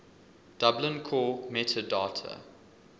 dublin core metadata